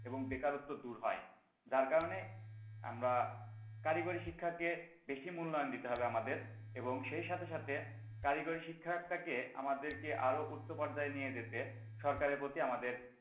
এবং বেকারত্ব দূর হয় তার কারণে আমরা কারিগরি শিক্ষাকে বেশি মূল্যায়ন দিতে হবে আমাদের এবং সেই সাথে সাথে কারিগরি শিক্ষা টাকে আমাদেরকে আরো উচ্চ পর্যায়ে নিয়ে যেতে সরকারের প্রতি আমাদের,